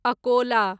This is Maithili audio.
अकोला